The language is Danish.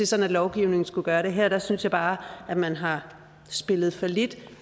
sådan at lovgivningen skulle gøre det her synes jeg bare at man har spillet fallit